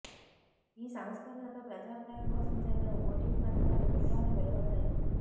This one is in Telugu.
ఈ సంస్కరణలపై ప్రజాభిప్రాయం కోసం జరిగిన ఓటింగ్ ఫలితాలు గురువారం వెలువడ్డాయి